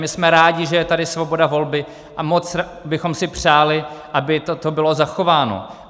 My jsme rádi, že je tady svoboda volby, a moc bychom si přáli, aby toto bylo zachováno.